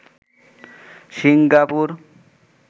Singapore